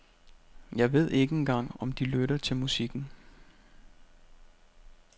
Jeg ved ikke engang om de lytter til musikken.